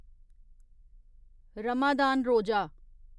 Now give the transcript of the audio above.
रमदान रोज़ा